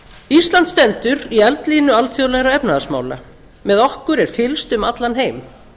ísland stendur í eldlínu alþjóðlegra efnahagsmála með okkur er fylgst um allan heim